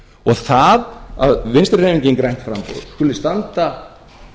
og það að vinstri hreyfingin grænt framboð skuli standa